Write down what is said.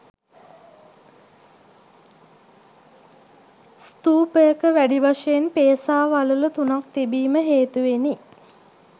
ස්තූපයක වැඩි වශයෙන් පේසා වළලු තුනක් තිබීම හේතුවෙනි.